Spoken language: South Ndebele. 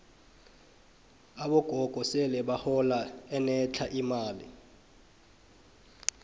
abogogo sele bahola enetlha imali